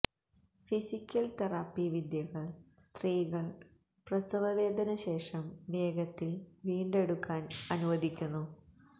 physical therapy വിദ്യകൾ സ്ത്രീകൾ പ്രസവവേദന ശേഷം വേഗത്തിൽ വീണ്ടെടുക്കാൻ അനുവദിക്കുന്നു